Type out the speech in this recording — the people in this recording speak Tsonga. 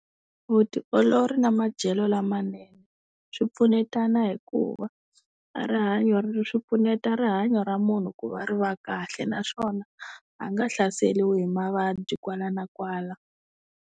Vutiolori na madyelo lamanene swi pfunetana hikuva a rihanyo ra, swi pfuneta rihanyo ra munhu ku va ri va kahle naswona a nga hlaseriwi hi mavabyi kwala na kwala.